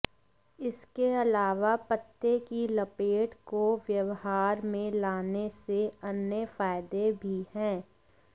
इसके अलावा पत्ते की प्लेट को व्यवहार में लाने से अन्य फायदे भी हैं